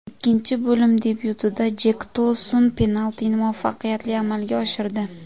Ikkinchi bo‘lim debyutida Jenk To‘sun penaltini muvaffaqiyatli amalga oshirdi.